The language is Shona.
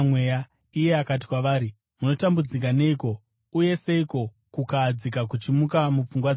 Iye akati kwavari, “Munotambudzika neiko, uye seiko kukahadzika kuchimuka mupfungwa dzenyu?